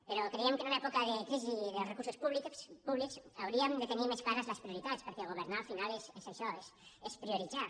però creiem que en una època de crisi dels recursos públics hauríem de tenir més clares les prioritats perquè governar al final és això és prioritzar